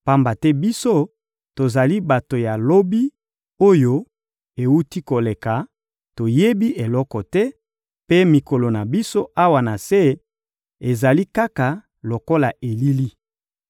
pamba te, biso, tozali bato ya lobi oyo ewuti koleka, toyebi eloko te, mpe mikolo na biso, awa na se, ezali kaka lokola elili.